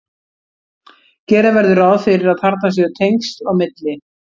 gera verður ráð fyrir að þarna séu tengsl á milli